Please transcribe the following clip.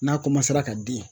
N'a ka den